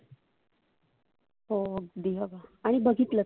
हो अगदी आणि बघितलं